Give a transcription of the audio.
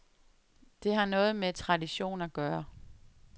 Det har noget med traditionen at gøre.